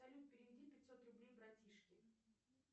салют переведи пятьсот рублей братишке